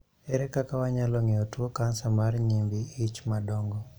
Ere kaka wanyalo ng'eyo tuo kansa mar nyimbi ich madongo?